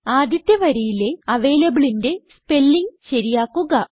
ആദ്യത്തെ വരിയിലെ avalableന്റെ സ്പെല്ലിംഗ് ശരിയാക്കുക